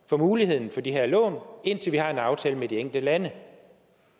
for muligheden for de her lån indtil vi har en aftale med de enkelte lande